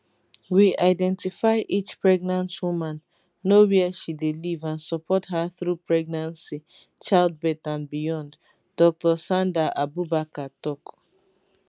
we identify each pregnant woman know wia she dey live and support her through pregnancy childbirth and beyond dr sandahabubakar tok